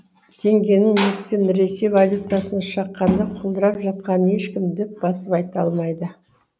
теңгенің неліктен ресей валютасына шаққанда құлдырап жатқанын ешкім дөп басып айта алмайды